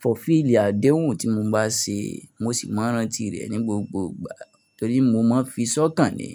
fulfill àdéhùn tí mo bá ṣe. Mo sì máa ń rántí rẹ̀ ní gbogbo ìgbà torí mo máa ń fi sọ́kàn ni.